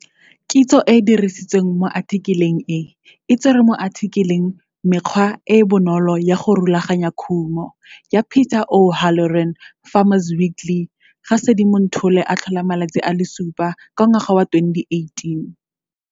Kitso e e dirisitsweng mo athikeleng e e tserwe mo athikeleng. Mekgwa e e bonolo ya go rulaganya khumo ya Peter O Halloran Farmer's Weekly 7 Sedimonthole 2018.